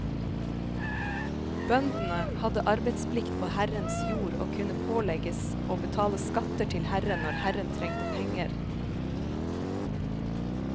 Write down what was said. Bøndene hadde arbeidsplikt på herrens jord og kunne pålegges å betale skatter til herren når herren trengte penger.